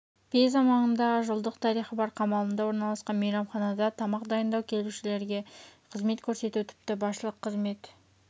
пиза маңындағы жылдық тарихы бар қамалында орналасқан мейрамханада тамақ дайындау келушілерге қызмет көрсету тіпті басшылық қызмет